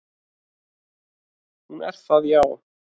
"""Hún er það, já."""